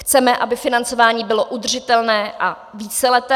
Chceme, aby financování bylo udržitelné a víceleté.